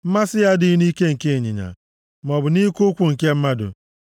Mmasị ya adịghị nʼike nke ịnyịnya, maọbụ nʼike ụkwụ nke mmadụ.